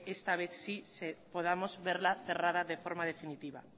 esta vez sí podamos verla cerrada de forma definitiva